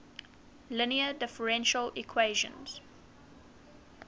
linear differential equation